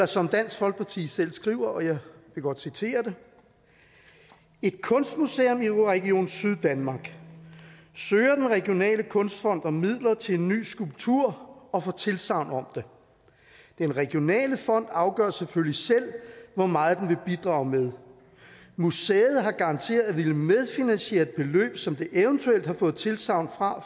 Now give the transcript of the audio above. som dansk folkeparti selv skriver og jeg vil godt citere et kunstmuseum i region syddanmark søger den regionale kunstfond om midler til en ny skulptur og får tilsagn om det den regionale fond afgør selvfølgelig selv hvor meget den vil bidrage med museet har garanteret at ville medfinansiere et beløb som det evt har fået tilsagn fra